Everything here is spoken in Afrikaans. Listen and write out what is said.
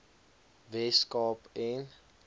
wes kaap en